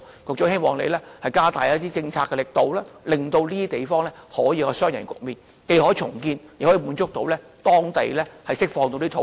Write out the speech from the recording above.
我希望局長加大一些政策的力度，以達到雙贏的局面，既可重建房屋，又能釋放土地。